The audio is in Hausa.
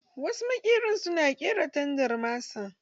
Wasu maƙeren na ƙera tandar masa.